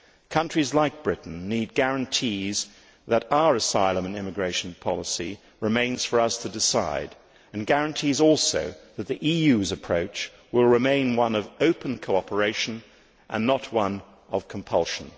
Countries like Britain need guarantees that our asylum and immigration policy remains for us to decide and guarantees also that the EU's approach will remain one of open cooperation and not one of compulsion.